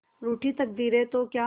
रूठी तकदीरें तो क्या